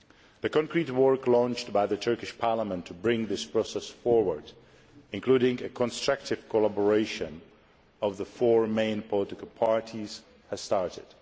The specific work launched by the Turkish Parliament to bring this process forward, including constructive collaboration between the four main political parties, has started.